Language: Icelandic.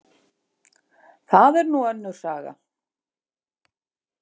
Það er nú önnur saga.